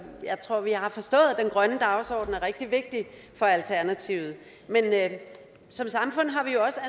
jeg tror vi har forstået at den grønne dagsorden er rigtig vigtig for alternativet men som samfund har vi jo også